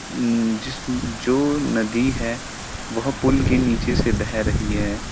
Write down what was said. जिस जो नदी है वह पुल के नीचे से बह रही है।